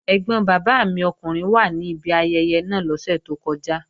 Ẹ́gbọn bàbá mi ọkùnrin wà ní ibi ayẹyẹ náà lọ́sẹ̀ tó kọjá